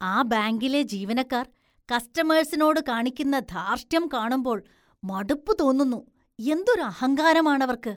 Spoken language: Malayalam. ആ ബാങ്കിലെ ജീവനക്കാര്‍ കസ്റ്റമേഴ്സിനോട് കാണിക്കുന്ന ധാര്‍ഷ്ട്യം കാണുമ്പോള്‍ മടുപ്പ് തോന്നുന്നു. എന്തൊരു അഹങ്കാരമാണവര്‍ക്ക്